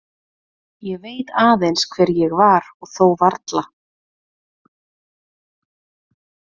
Ég veit aðeins hver ég var og þó varla.